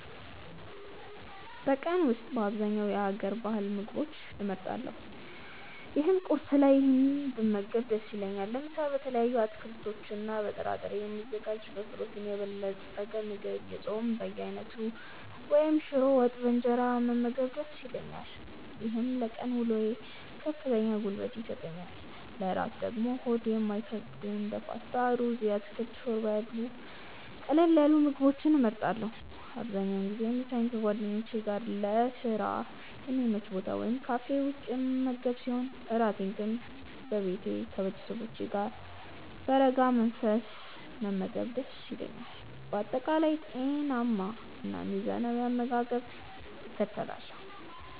በቀን ውስጥ በአብዛኛው የሀገር ባህል ምግቦችን እመርጣለሁ ይህም ቁርስ ላይ ይህንን ብመገብ ደስ ይለኛል። ለምሳ በተለያዩ አትክልቶችና በጥራጥሬ የሚዘጋጅ በፕሮቲን የበለፀገ ምግብ፣ የጾም በየአይነቱ ወይም ሽሮ ወጥ በእንጀራ መመገብ ደስ ይለኛል። ይህም ለቀን ውሎዬ ከፍተኛ ጉልበት ይሰጠኛል። ለእራት ደግሞ ሆድ የማይከብዱ እንደ ፓስታ፣ ሩዝ ወይም የአትክልት ሾርባ ያሉ ቀለል ያሉ ምግቦችን እመርጣለሁ። አብዛኛውን ጊዜ ምሳዬን ከጓደኞቼ ጋር ለስራ በሚመች ቦታ ወይም ካፌ ውስጥ የምመገብ ሲሆን፣ እራቴን ግን በቤቴ ከቤተሰቦቼ ጋር በረጋ መንፈስ መመገብ ደስ ይለኛል። በአጠቃላይ ጤናማና ሚዛናዊ አመጋገብን እከተላለሁ።